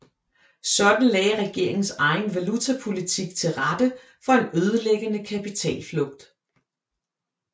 Sådan lagde regeringens egen valutapolitik til rette for en ødelæggende kapitalflugt